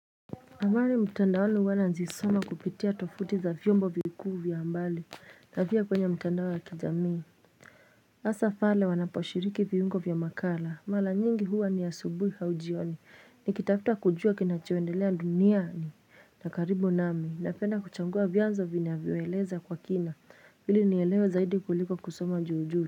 Habari mtandaoni huwa nazisoma kupitia tofuti za vyombo vikuu vya habari na pia kwenye mtandao ya kijamii hasaa pale wanaposhiriki viungo vya makala mara nyingi huwa ni asubui au jioni ni kitafta kujua kinacho endelea dunia na karibu nami napenda kuchagua vyanzo vinavyo eleza kwa kina hili nielewe zaidi kuliko kusoma juu juu.